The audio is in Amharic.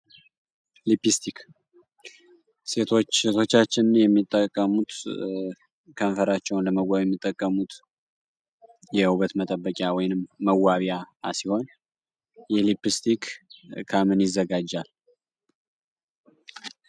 ሊብስቲክ ሴቶችና የሚጠቀሙት ከንፈራቸው እንደመዋሙት የውበት መጠበቂያ ወይም መዋቢያ ሲሆን የልብስክሪክ ከምን ይዘጋጃል